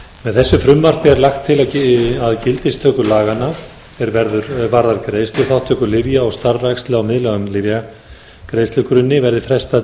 með þessu frumvarpi er lagt til að gildistöku laganna er varðar greiðsluþátttöku lyfja og starfrækslu á miðlægum lyfjagreiðslugrunni verði frestað